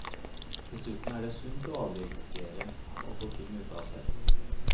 Dessuten er det sunt å avreagere, å få ting ut av seg.